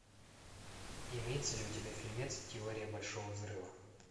имеется ли у тебя фильмец теория большого взрыва